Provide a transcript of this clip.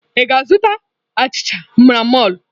Ị ga-azụta achịcha n'mọlụ?